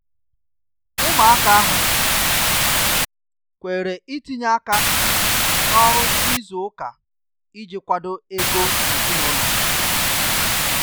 Ụmụaka ahụ um kwere itinye aka n’ọrụ izu ụka iji kwado ego ezinụlọ.